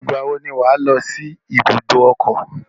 Ìgbà wo ni wà á lọ sí ibùdó ọkọ̀?